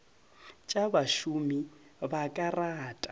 tša bašomi ba ka rata